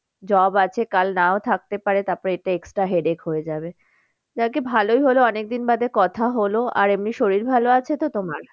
Job আছে কাল নাও থাকতে পারে তারপরে এটা extra headache হয়ে যাবে। যাক গে ভালোই হলো অনেক দিন বাদে কথা হলো আর এমনি শরীর ভালো আছে তো তোমার?